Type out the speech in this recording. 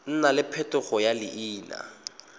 nna le phetogo ya leina